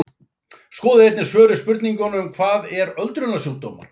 Skoðið einnig svör við spurningunum Hvað eru öldrunarsjúkdómar?